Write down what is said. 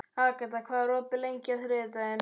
Agata, hvað er opið lengi á þriðjudaginn?